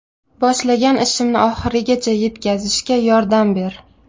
Boshlagan ishimni oxirigacha yetkazishga yordam ber.